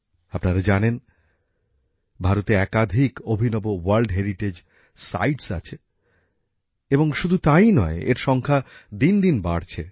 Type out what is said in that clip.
আপনারা জানেন ভারতে একাধিক অভিনব বিশ্ব ঐতিহ্যশালী স্থান আছে এবং শুধু তাই নয় এর সংখ্যা দিন দিন বাড়ছে